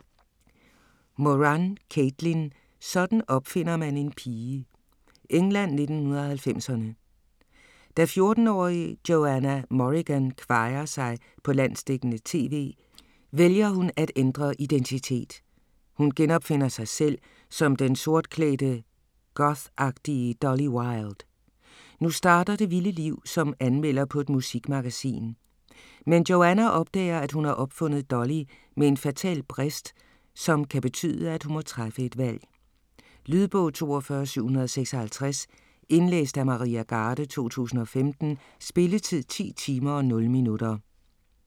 Moran, Caitlin: Sådan opfinder man en pige England, 1990'erne. Da 14-årige Johanna Morrigan kvajer sig på landsdækkende tv, vælger hun at ændre identitet. Hun genopfinder sig selv som den sortklædte gothagtige Dolly Wilde. Nu starter det vilde liv som anmelder på et musikmagasin. Men Johanna opdager at hun har opfundet Dolly med en fatal brist, som kan betyde at hun må træffe et valg. Lydbog 42756 Indlæst af Maria Garde, 2015. Spilletid: 10 timer, 0 minutter.